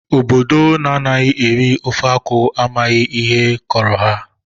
Obodo ndị anaghị eri ofe akwụ amaghị ihe kọrọ ha